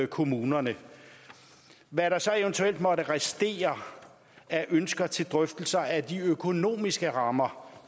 kommunerne hvad der så eventuelt måtte restere af ønsker til drøftelser af de økonomiske rammer